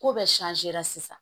Ko bɛɛ sisan